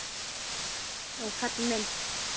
Það held ég nú, kallinn minn.